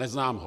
Neznám ho.